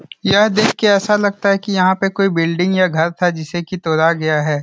यह देख के ऐसा लगता है की यहाँ पे कोई बिल्डिंग या घर था जिसे की तोरा गया है।